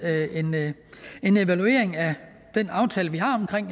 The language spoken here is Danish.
en evaluering af den aftale vi har omkring